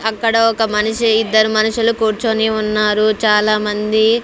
అక్కడ ఒక మనిషి ఇద్దరు మనుషులు కూర్చొని ఉన్నారు చాలా మంది--